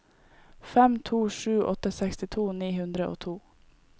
fem to sju åtte sekstito ni hundre og to